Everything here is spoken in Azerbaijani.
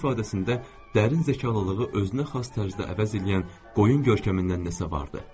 Üzünün ifadəsində dərin zəkalılığı özünəxas tərzdə əvəz eləyən qoyun görkəmindən nəsə vardı.